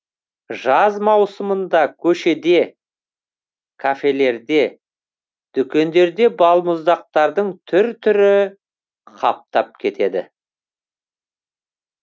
жаз маусымында көшеде кафелерде дүкендерде балмұздақтардың түр түрі қаптап кетеді